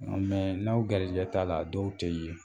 Nka n'aw garijɛgɛ t'a la dɔw tɛ ye